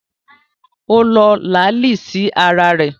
Ó lo làálí sí ara rẹ̀